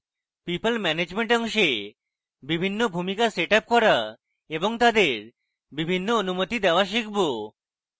people management অংশে বিভিন্ন ভূমিকা set up করা এবং তাদের বিভিন্ন অনুমতি দেওয়া শিখব